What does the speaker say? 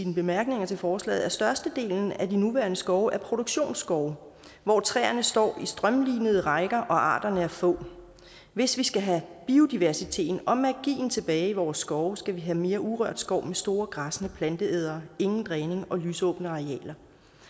bemærkninger til forslaget at størstedelen af de nuværende skove er produktionsskove hvor træerne står i strømlinede rækker og arterne er få hvis vi skal have biodiversiteten og magien tilbage i vores skove skal vi have mere urørt skov med store græssende planteædere ingen dræning og lysåbne arealer